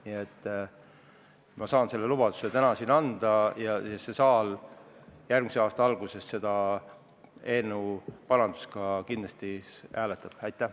Nii et ma saan selle lubaduse täna siin anda ja järgmise aasta alguses saab see saal eelnõu parandust kindlasti ka hääletada.